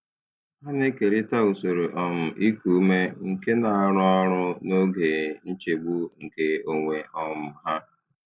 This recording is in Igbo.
Ha na-ekerịta usoro um iku ume nke na-arụ ọrụ n'oge nchegbu nke onwe um ha.